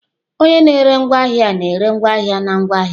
Onye na-ere ahịa na-ere ngwaahịa na ngwa ahịa.